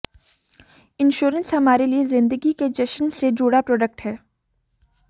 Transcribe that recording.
insurance हमारे लिए जिंदगी के जश्न से जुड़ा प्रोडक्ट है